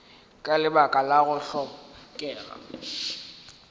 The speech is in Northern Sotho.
ka lebaka la go hlokega